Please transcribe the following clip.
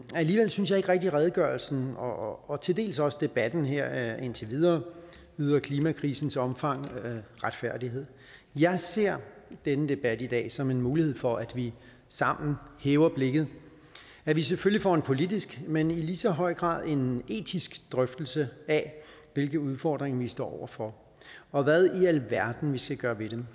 alligevel synes jeg ikke rigtig at redegørelsen og og til dels også debatten her indtil videre yder klimakrisens omfang retfærdighed jeg ser den debat her i dag som en mulighed for at vi sammen hæver blikket at vi selvfølgelig får en politisk men i lige så høj grad en etisk drøftelse af hvilke udfordringer vi står over for og hvad i alverden vi skal gøre ved dem